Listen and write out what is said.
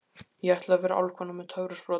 Ég ætla að vera álfkona með töfrasprota.